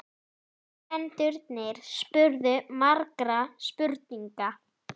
Nemendurnir spurðu margra spurninga.